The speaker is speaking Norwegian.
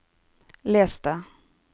les det